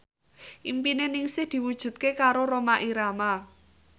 impine Ningsih diwujudke karo Rhoma Irama